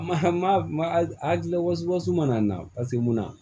Ma ma a gila wasisi mana na paseke mun na